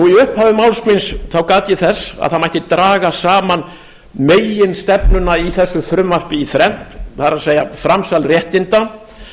í upphafi máls míns gat ég þess að það mætti draga saman meginstefnuna í þessu frumvarpi í þrennt það er framsal réttinda